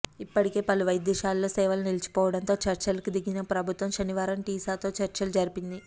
ఇప్పటికే పలు వైద్యశాలల్లో సేవలు నిలిచిపోవటం తో చర్చలకు దిగిన ప్రభుత్వం శనివారం టీసాతో చర్చలు జరిపింది